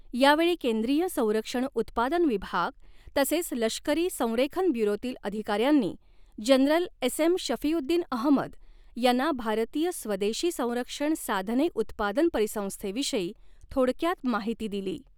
यावेळी केंद्रीय संरक्षण उत्पादन विभाग तसेच लष्करी संरेखन ब्युरोतील अधिकाऱ्यांनी जनरल एसएम शफीऊद्दीन अहमद यांना भारतीय स्वदेशी संरक्षण साधने उत्पादन परिसंस्थेविषयी थोडक्यात माहिती दिली.